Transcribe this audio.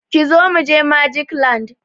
Kizo mu je Magic land!